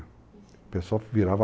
O pessoal virava